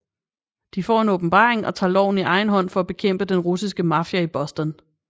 De får en åbenbaring og tager loven i egen hånd for at bekæmpe den russiske mafia i Boston